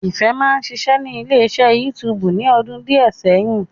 Ìfẹ́ máa ń ṣiṣẹ́ ní ilé iṣẹ́ YouTube ní ọdún díẹ̀ sẹ́yìn